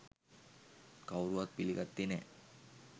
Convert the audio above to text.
කවුරුවත් පිළිගත්තේ නෑ.